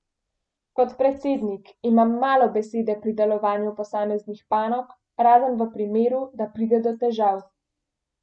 Kot predsednik imam malo besede pri delovanju posameznih panog, razen v primeru, da pride do težav.